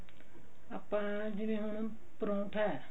ਆਪਾਂ ਜਿਵੇਂ ਹ ਪਰੋਂਠਾ